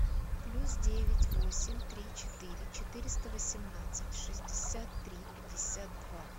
плюс девять восемь три четыре четыреста восемнадцать шестьдесят три пятьдесят два